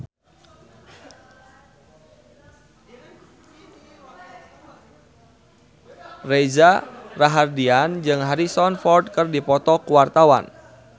Reza Rahardian jeung Harrison Ford keur dipoto ku wartawan